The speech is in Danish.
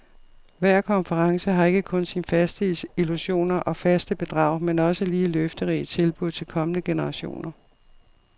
Hver konference har ikke kun sine faste illusioner og faste bedrag, men også lige løfterige tilbud til kommende generationer.